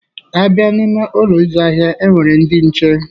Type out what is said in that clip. A bịa n'ime Ụlọ ịzụ ahịa, e nwere ndị nche.